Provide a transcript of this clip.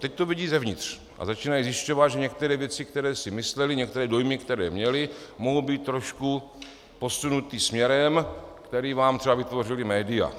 Teď to vidí zevnitř a začínají zjišťovat, že některé věci, které si mysleli, některé dojmy, které měli, mohou být trošku posunuté směrem, který vám třeba vytvořila média.